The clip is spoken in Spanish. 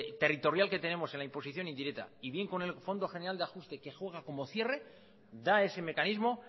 interterritorial que tenemos en la imposición indirecta y bien con el fondo general de ajuste que juega como cierre da ese mecanismo